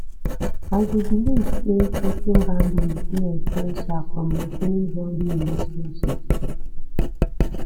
i dey believe say setting boundaries dey essential for maintaining healthy relationships